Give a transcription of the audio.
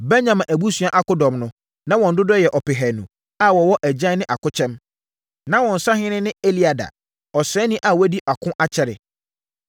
Benyamin abusua akodɔm no, na wɔn dodoɔ yɛ ɔpehanu (200,000) a wɔwɔ agyan ne akokyɛm. Na wɔn sahene ne Eliada, ɔsraani a wadi ako akyɛre.